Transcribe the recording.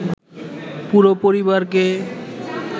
পুরো পরিবারকে